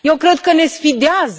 Eu cred că ne sfidează.